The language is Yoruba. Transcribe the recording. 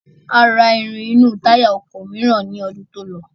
A ra irin inú táyà ọkọ̀ mìíràn ní ọdún tí ó lọ.